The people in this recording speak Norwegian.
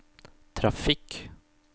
trafikk